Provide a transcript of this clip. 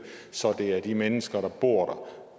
så det er de mennesker der bor